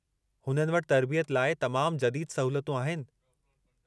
हुननि वटि तर्बियत लाइ तमामु जदीदु सहूलतूं आहिनि।